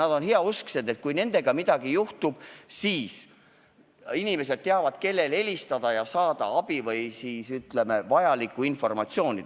Ja nad on heausksed, et kui nendega midagi juhtub, siis inimesed teavad, kellele helistada ja kust saada abi või vajalikku informatsiooni.